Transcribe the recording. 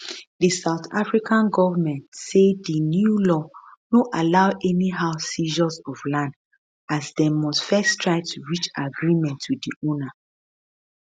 di south african goment say di new law no allow anyhow seizures of land as dem must first try to reach agreement wit di owner